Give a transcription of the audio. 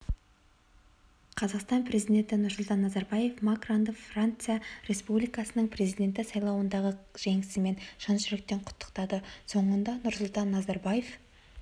қазақстан президенті нұрсұлтан назарбаев макронды франция республикасының президенті сайлауындағы жеңісімен шын жүректен құттықтады соңында нұрсұлтан назарбаев